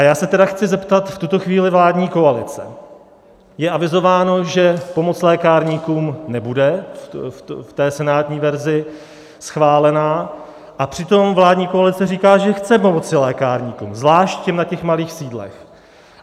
A já se tedy chci zeptat v tuto chvíli vládní koalice - je avizováno, že pomoc lékárníkům nebude v té senátní verzi schválena, a přitom vládní koalice říká, že chce pomoci lékárníkům, zvlášť na těch malých sídlech.